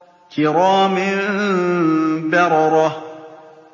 كِرَامٍ بَرَرَةٍ